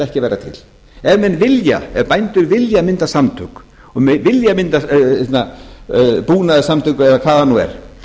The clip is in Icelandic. ekki að vera til ef bændur vilja mynda samtök og vilja mynda búnaðarsamtök eða hvað það nú er